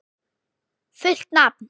Fullt nafn?